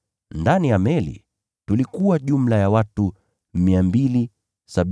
Ndani ya meli tulikuwa jumla ya watu 276.